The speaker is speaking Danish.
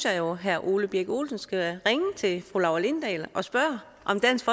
at herre ole birk olesen skal ringe til fru laura lindahl og spørge om dansk